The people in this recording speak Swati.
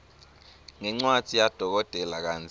ngencwadzi yadokotela kantsi